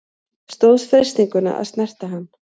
Stóðst freistinguna að snerta hann